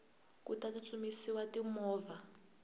ku ta tsutsumisiwa ti movha